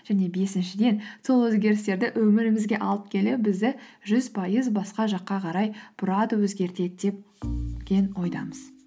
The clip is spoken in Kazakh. және бесіншіден сол өзгерістерді өмірімізге алып келе бізді жүз пайыз басқа жаққа қарай бұрады өзгертеді ойдамыз